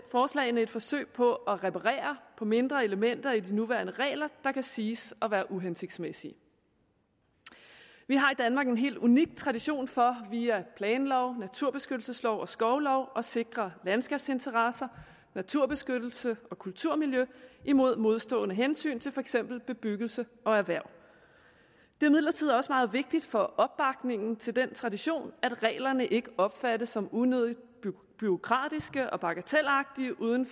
forslagene et forsøg på at reparere på mindre elementer i de nuværende regler der kan siges at være uhensigtsmæssige vi har i danmark en helt unik tradition for via planlov naturbeskyttelseslov og skovlov at sikre landskabsinteresser naturbeskyttelse og kulturmiljø imod modstående hensyn til for eksempel bebyggelse og erhverv det er imidlertid også meget vigtigt for opbakningen til den tradition at reglerne ikke opfattes som unødigt bureaukratiske og bagatelagtige uden